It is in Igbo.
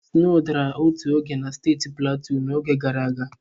Sno dara otu oge na steeti Platu n'oge gara aga.